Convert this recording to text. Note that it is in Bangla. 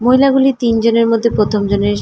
মহিলাগুলি তিন জনের মধ্যে প্রথম জনের--